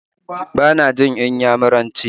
Ba na jin Inyamuranci